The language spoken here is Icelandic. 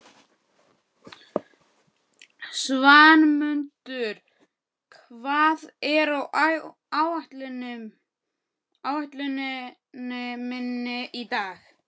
Svanmundur, hvað er á áætluninni minni í dag?